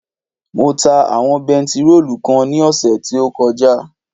Mo ta àwọn bentiróòlù kan ní ọ̀sẹ̀ tí ó kọjá